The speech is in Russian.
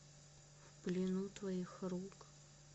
в плену твоих рук